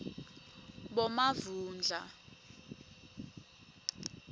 bomavundla